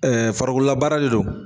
Ɛɛ farikololabaara de don